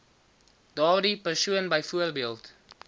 daardie persoon byvoorbeeld